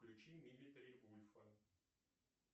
включи милитари вульфа